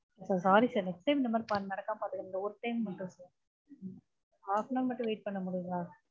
sorry sir next time இந்த மாதிரி நடக்காம பார்த்துக்கிறோம் இந்த ஒரு time மட்டும் sir half an hour மட்டும் wait பண்ண முடியுங்களா?